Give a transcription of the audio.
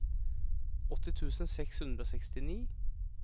åtti tusen seks hundre og sekstini